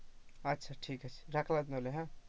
আচ্ছা ঠিক আছে, রাখলাম তাহলে,